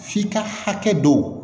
F'i ka hakɛ dɔ